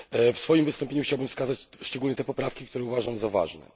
W swoim wystąpieniu chciałbym wskazać szczególnie te poprawki, które uważam za ważne.